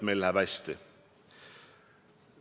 Oma tegevusega garanteerin.